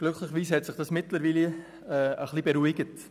Glücklicherweise hat sich das mittlerweile etwas beruhigt.